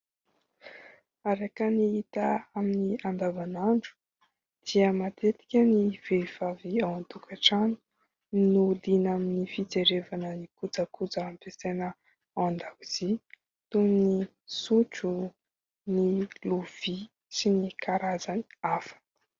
Araka ny hita amin'ny andavan'andro dia matetika ny vehivavy ao an-tokatrano no liana amin'ny fijerevana ny kojakoja ampiasaina ao an-dakozia toy: ny sotro, ny lovia sy ny karazany hafa.